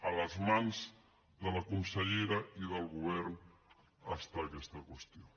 a les mans de la consellera i del govern està aquesta qüestió